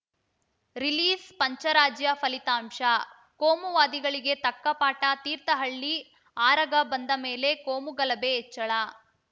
ರಿಲೀಸ್‌ಪಂಚರಾಜ್ಯ ಫಲಿತಾಂಶ ಕೋಮುವಾದಿಗಳಿಗೆ ತಕ್ಕ ಪಾಠ ತೀರ್ಥಹಳ್ಳಿ ಆರಗ ಬಂದ ಮೇಲೆ ಕೋಮುಗಲಭೆ ಹೆಚ್ಚಳ